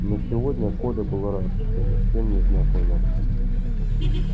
но сегодня коля был рад что ни с кем не знакомился